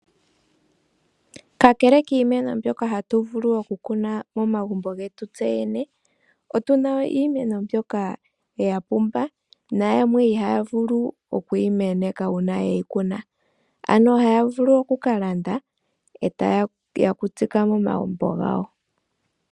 Kakele kiimeno mbyoka hatu vulu okukuna momagumbo getu tseyene otuna iimeno mbyoka ya pumba nayamwe ihaya vulu oku yimeneka uuna yeyikuna ano ohaya vulu okukalanda eta yeya okutsika momagumbo gawo.